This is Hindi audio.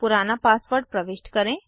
पुराना पासवर्ड प्रविष्ट करें